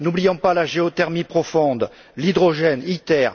N'oublions pas la géothermie profonde, l'hydrogène, ITER.